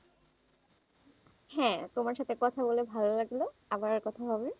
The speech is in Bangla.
হ্যাঁ, তোমার সাথে কথা বলে ভালো লাগলো আবারো কথা হবে,